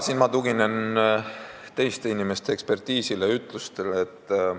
Siin ma tuginen teiste inimeste ekspertiisile ja ütlustele.